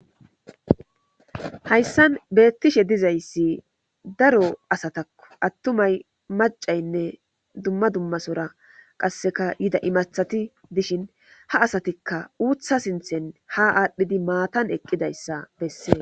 hayssan beettishe dizayssi daro asatakko attumay macaynne dumma dummasora qasseka yida imathati dishin ha asatikka uutha sinthen ha aadhdhidi maatan eqqidayssa bessees